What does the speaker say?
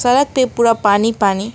सड़क पे पूरा पानी पानी--